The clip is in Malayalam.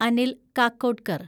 അനിൽ കാക്കോഡ്കർ